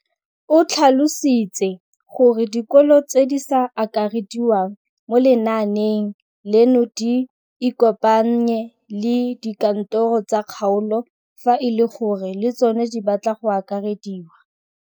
O tlhalositse gore dikolo tse di sa akarediwang mo lenaaneng leno di ikopanye le dikantoro tsa kgaolo fa e le gore le tsona di batla go akarediwa.